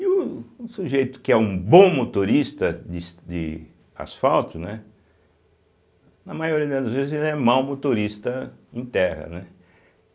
E o o sujeito que é um bom motorista des de asfalto, né, na maioria das vezes, ele é mau motorista em terra, né.